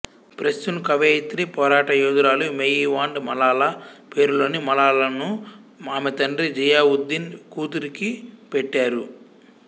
పస్తూన్ కవయిత్రి పోరాటయోధురాలు మెయివాండ్ మలాలా పేరులోని మలాలాను ఆమె తండ్రి జియావుద్దీన్ కూతురికి పెట్టారు